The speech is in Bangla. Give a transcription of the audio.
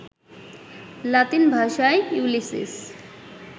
লাতিন ভাষায় ইউলিসিস